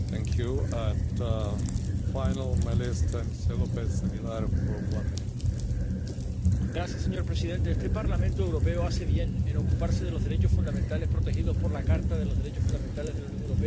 Señor presidente, este Parlamento Europeo hace bien en ocuparse de los derechos fundamentales protegidos por la Carta de los Derechos Fundamentales de la Unión Europea, que no solamente cubren a los ciudadanos europeos, sino a cualquier persona que se encuentre en nuestro territorio.